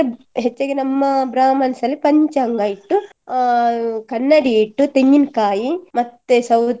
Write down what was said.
ಅಂದ್ರೆ ಹೆಚ್ಚಾಗಿ ನಮ್ಮ brahmins ಅಲ್ಲಿ ಪಂಚಾಂಗ ಇಟ್ಟು ಅಹ್ ಕನ್ನಡಿ ಇಟ್ಟು ತೆಂಗಿನ್ಕಾಯಿ ಮತ್ತೆ ಸೌತೆ,